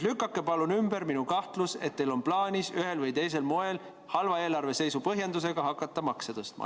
Lükake palun ümber minu kahtlus, et teil on plaanis ühel või teisel moel halva eelarveseisu põhjendusega hakata makse tõstma.